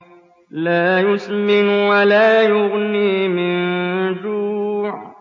لَّا يُسْمِنُ وَلَا يُغْنِي مِن جُوعٍ